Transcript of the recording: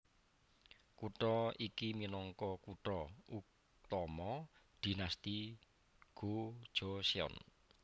Kutha iki minangka kutha utama Dinasti Go Joseon